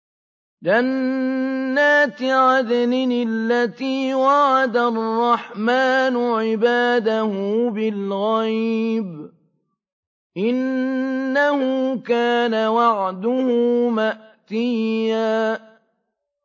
جَنَّاتِ عَدْنٍ الَّتِي وَعَدَ الرَّحْمَٰنُ عِبَادَهُ بِالْغَيْبِ ۚ إِنَّهُ كَانَ وَعْدُهُ مَأْتِيًّا